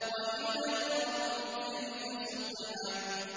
وَإِلَى الْأَرْضِ كَيْفَ سُطِحَتْ